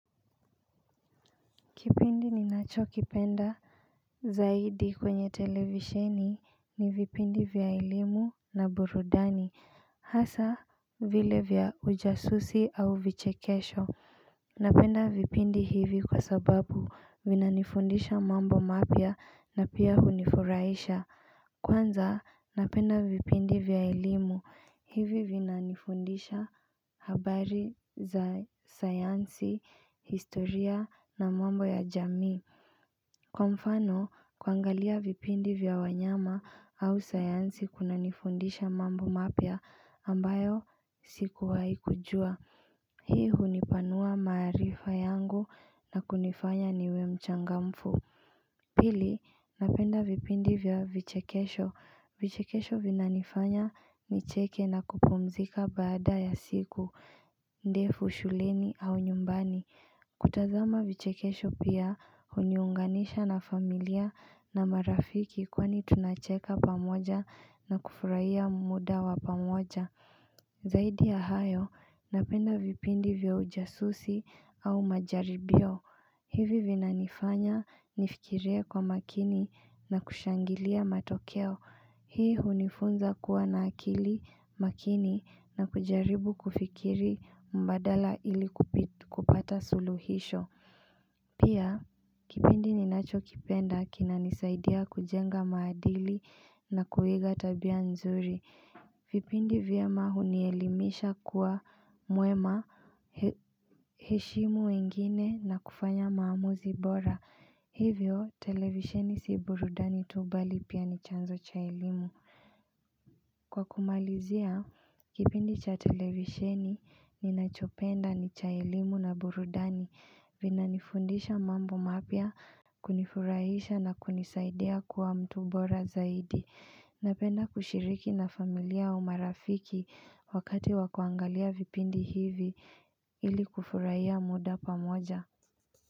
Kipindi ninacho kipenda Zaidi kwenye televisheni ni vipindi vya elimu na burudani hasa vile vya ujasusi au vichekesho Napenda vipindi hivi kwa sababu vinanifundisha mambo mapya na pia hunifurahisha Kwanza napenda vipindi vya elimu hivi vinanifundisha habari za sayansi, historia na mambo ya jamii Kwa mfano kuangalia vipindi vya wanyama au sayansi kunanifundisha mambo mapya ambayo sikuwai kujua Hii hunipanua maarifa yangu na kunifanya niwe mchangamfu Pili, napenda vipindi vya vichekesho. Vichekesho vinanifanya nicheke na kupumzika baada ya siku, ndefu, shuleni au nyumbani. Kutazama vichekesho pia, uniunganisha na familia na marafiki kwani tunacheka pamoja na kufurahia muda wa pamoja. Zaidi ya hayo, napenda vipindi vya ujasusi au majaribio hivi vina nifanya nifikirea kwa makini na kushangilia matokeo Hii hunifunza kuwa na akili makini na kujaribu kufikiri mbadala ili kupata suluhisho Pia, kipindi ninachokipenda kina nisaidia kujenga maadili na kuiga tabia nzuri vipindi vyema hunielimisha kuwa mwema heshimu wengine na kufanya maamuzi bora Hivyo televisheni si burudani tubali pia ni chanzo cha ilimu Kwa kumalizia, kipindi cha televisheni ninachopenda ni cha elimu na burudani Vinanifundisha mambo mapia kunifurahisha na kunisaidia kuwa mtu bora zaidi Napenda kushiriki na familia umarafiki wakati wakuangalia vipindi hivi ili kufurahia muda pamoja.